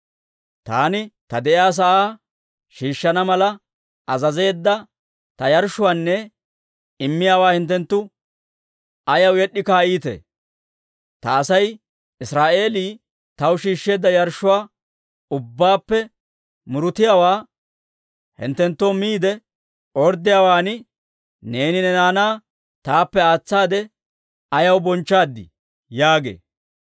Taani ta de'iyaa sa'aa shiishshana mala azazeedda ta yarshshuwaanne immiyaawaa hinttenttu ayaw yed'd'i kaa'iitee? Ta Asay Israa'eelii, taw shiishsheedda yarshshuwaa ubbaappe murutiyaawaa hinttenttoo miide orddiyaawaan, neeni ne naanaa taappe aatsaade ayaw bonchchaad?› yaagee.